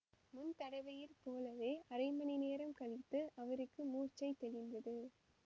முன் தடவையில் போலவே அரை மணி நேரம் கழித்து அவருக்கு மூர்ச்சை தெளிந்தது